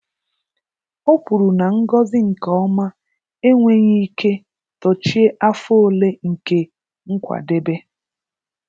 Ọ kwuru na ngọzi nke ọma enweghị ike dochie afọ ole nke nkwadebe.